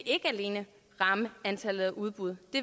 ikke alene vil ramme antallet af udbud det